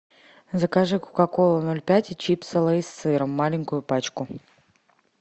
закажи кока колу ноль пять и чипсы лейс с сыром маленькую пачку